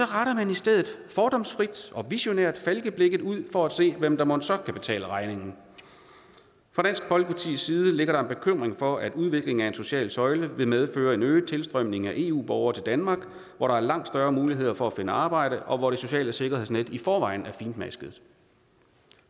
retter man i stedet fordomsfrit og visionært falkeblikket ud for at se hvem der mon så kan betale regningen fra dansk folkepartis side ligger der en bekymring for at udviklingen af en social søjle vil medføre en øget tilstrømning af eu borgere til danmark hvor der er langt større mulighed for at finde arbejde og hvor det sociale sikkerhedsnet i forvejen er fintmasket